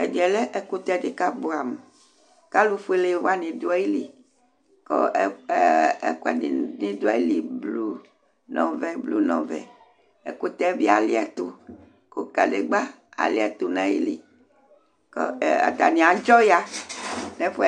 ɛmɛlɛ ɛkʊtɛ dɩ kʊ abuɛ amʊ, kʊ ɛtʊ fue aluɛdɩnɩ dʊ ayili, kʊ ɛkuɛdɩnɩ bɩ dʊ ayili blu nʊ ɔvɛ, ɛkʊtɛ yɛ bɩ aliɛtu, kʊ ivutsu yɛ bɩ aliɛtu nʊ ayili, kʊ atanɩ adzɔ ya nʊ ɛfu yɛ